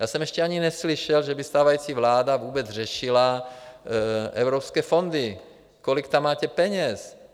Já jsem ještě ani neslyšel, že by stávající vláda vůbec řešila evropské fondy, kolik tam máte peněz.